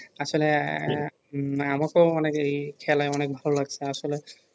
আসলে উম আমাকেও অনেক এই খেলা অনেক ভালো লাগছে আসলে